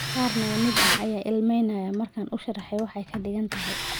Qaar naga mid ah ayaa ilmaynaya markaan u sharraxay waxa ay ka dhigan tahay.